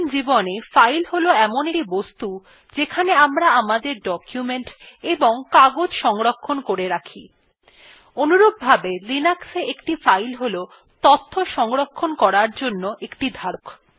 দৈনন্দিন জীবনে file হল in একটি বস্তু যেখানে আমরা আমাদের documents এবং কাগজ সংরক্ষণ করে রাখি অনুরূপভাবে linuxa একটি file হল তথ্য সংরক্ষণ করার জন্য একটি ধারক